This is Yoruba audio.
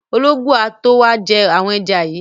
Ológbò á tó wá jẹ́ àwọn ẹja yìí.